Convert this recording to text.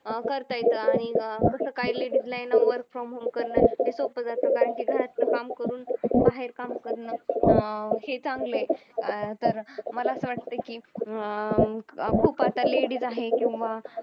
अं करता येतं आणि तसं काही ladies ला यांना work from home करन सोपं जातं कारण की घरातलं काम करून बाहेर काम करणं अं हे चांगलये अं तर मला असं वाटतं की अं खूप आता ladies आहे किंवा